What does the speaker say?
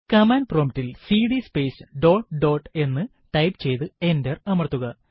command prompt ൽ CD space dot dot എന്ന് type ചെയ്തു എന്റർ അമർത്തുക